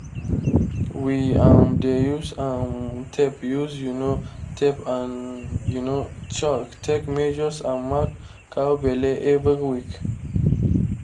we um dey use um tape use um tape and um chalk take measures and mark cow belle every week